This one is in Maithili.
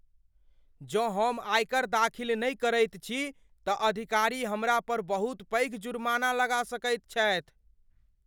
जँ हम आयकर दाखिल नहि करैत छी तऽ अधिकारी हमरा पर बहुत पैघ जुर्माना लगा सकैत छथि।